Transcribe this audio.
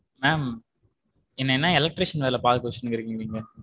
ma'am என்னைய என்ன electrician வேல பாக்க வச்சுட்டு இருக்கீங்க நீங்க.